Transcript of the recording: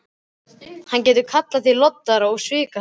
Hann getur kallað þig loddara og svikahrapp.